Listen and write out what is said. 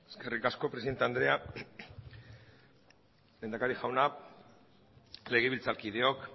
eskerrik asko presidente andrea lehendakari jauna legebiltzarkideok